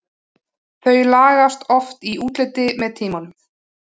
Þau lagast oft í útliti með tímanum.